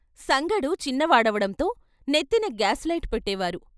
సంగడు చిన్న వాడవడంతో నెత్తిన గాన్ లైట్ పెట్టే వారు.